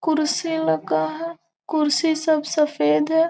कुर्सी लगा है कुर्सी सब सफ़ेद है।